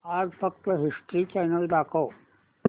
आज फक्त History Channel दाखव